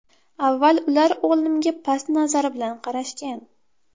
Avval ular o‘g‘limga past nazar bilan qarashgan.